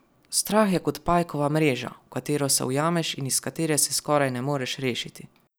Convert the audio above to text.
Strah je kot pajkova mreža, v katero se ujameš in iz katere se skoraj ne moreš rešiti.